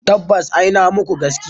Tabbas ina muku gaskiya.